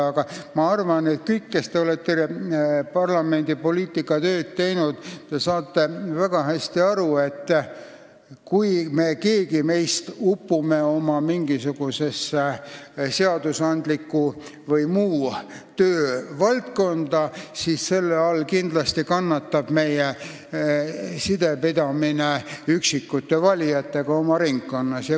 Aga ma arvan, et teie kõik, kes te olete parlamendis poliitikatööd teinud, saate väga hästi aru, et kui me upume meie töö mingisugusesse seadusandlikku või muusse valdkonda, siis selle tõttu kindlasti kannatab meie sidepidamine valijatega oma ringkonnas.